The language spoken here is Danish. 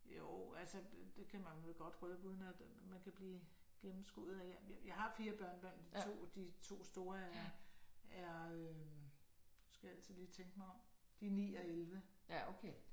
Jo altså det kan man vel godt røbe uden at man kan blive gennemskuet af. Jeg har fire børnebørn de to de to store er er øh nu skal jeg altid lige tænke mig om. De er 9 og 11